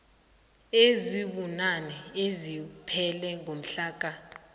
ezibunane eziphele ngomhlaka